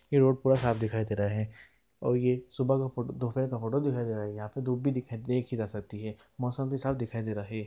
ये रोड पूरा साफ दिखाई दे रहा है| और ये सुबह का दोपहर का फोटो दिखाई दे रहा है| यहाँ पर धूप भी देखी जा सकती है मौसम भी साफ दिखाई दे रहा है।